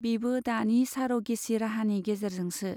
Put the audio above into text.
बिबो दानि सार'गेचि राहानि गेजेरजोंसो।